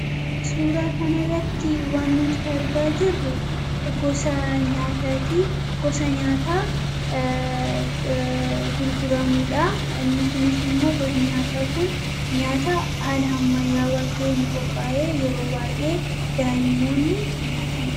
Suuraa kana irratti waan nuti argaa jirru gosa nyaatati gosa nyaataa gurguramuudha. Inni kunis immoo gosa nyaataa kun nyaata haala ammayyaawa ta'en qophaa'e yeroo baay'ee daa'immoonni nyaatani.